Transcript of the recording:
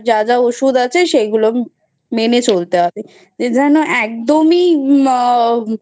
আর যা যা ওষুধ আছে সেইগুলো মেনে চলতে হবে. যেনো একদমই